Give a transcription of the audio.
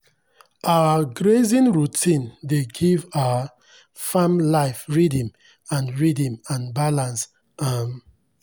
our grazing routine dey give our farm life rhythm and rhythm and balance. um